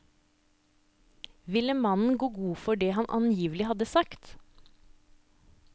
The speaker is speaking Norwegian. Ville mannen gå god for hva han angivelig hadde sagt?